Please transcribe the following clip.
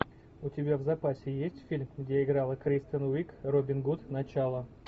у тебя в запасе есть фильм где играла кристен уиг робин гуд начало